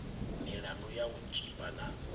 milandu ya u tshipa na